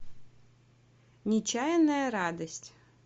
нечаянная радость